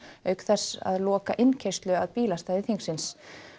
auk þess að loka innkeyrslu að bílastæði þingsins